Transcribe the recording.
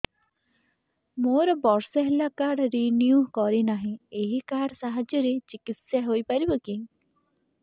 ମୋର ବର୍ଷେ ହେଲା କାର୍ଡ ରିନିଓ କରିନାହିଁ ଏହି କାର୍ଡ ସାହାଯ୍ୟରେ ଚିକିସୟା ହୈ ପାରିବନାହିଁ କି